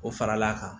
O faral'a kan